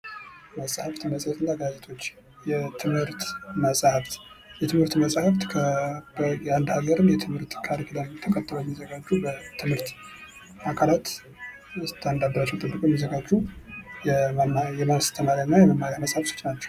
መጸሃፍት መጽሄት እና ጋዜጦች የትምህርት መጽሃፍት፤ የትምህርት መጽሃፍት የአንድ ሃገርን የትምህርት ካሪኩለም ተከትለው የሚዘጋጁ የትምህርት አካላት ስታንዳርዳቸውን ጠብቀው የሚዘጋጁ የማስተማሪያ እና የመማሪያ መጽሃፍቶች ናቸው።